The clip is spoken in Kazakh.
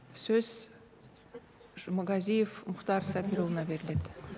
сөз жұмағазиев мұхтар сабырұлына беріледі